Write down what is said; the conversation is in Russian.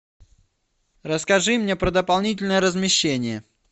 расскажи мне про дополнительное размещение